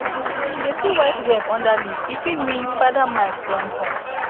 she dey see white web under leaf e fit mean spider mite don come